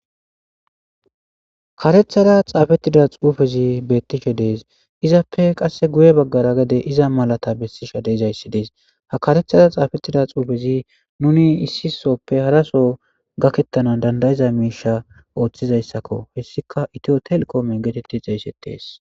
Karethara xapetida xupezi dees itape gedera iza malati besizayis dees ha karethara xapetida xupezi nuni issi soo haraso gaketanaw danida'ida misheza othizayisako hesika ito tel getetes